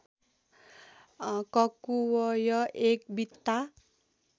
ककुवय् एक बित्ता